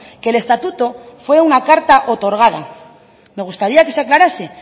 que el estatuto fue una carta otorgada me gustaría que se aclarase